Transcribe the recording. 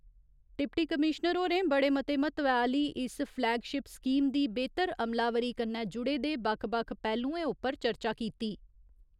Deputy commissioner होरें बड़े मते म्हत्वै आह्‌ली इस फ्लैगशिप स्कीम दी बेह्‌तर अमलावरी कन्नै जुड़े दे बक्ख बक्ख पैह्‌लुएं उप्पर चर्चा कीती।